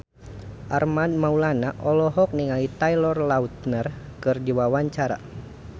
Armand Maulana olohok ningali Taylor Lautner keur diwawancara